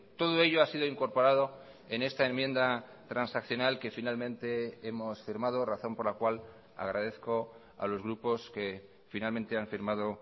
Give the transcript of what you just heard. todo ello ha sido incorporado en esta enmienda transaccional que finalmente hemos firmado razón por la cual agradezco a los grupos que finalmente han firmado